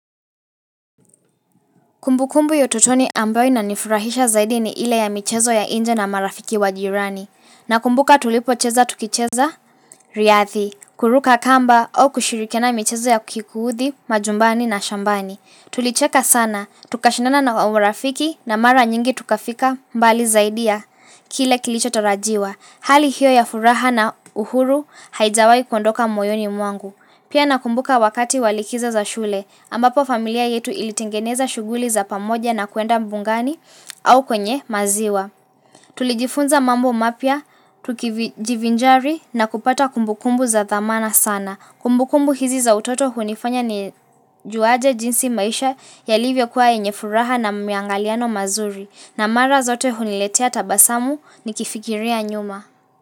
Kumbu kumbu ya utotoni ambayo ina nifurahisha zaidi ni ile ya michezo ya nje na marafiki wa jirani. Na kumbuka tulipo cheza tukicheza, riadhi, kuruka kamba au kushirikiana michezo ya kikuhuthi, majumbani na shambani. Tulicheka sana, tukashindana na marafiki na mara nyingi tukafika mbali zaidi ya, kile kilicho tarajiwa. Hali hiyo ya furaha na uhuru haijawahi kuondoka moyoni mwangu. Pia nakumbuka wakati walikizo za shule, ambapo familia yetu ilitengeneza shughuli za pamoja na kuenda mbugani au kwenye maziwa. Tulijifunza mambo mapya, tukijivinjari na kupata kumbukumbu za dhamana sana. Kumbukumbu hizi za utoto hunifanya ni juaje jinsi maisha ya livyo kuwa yenyefuraha na miangaliano mazuri. Na mara zote huniletea tabasamu ni kifikiria nyuma.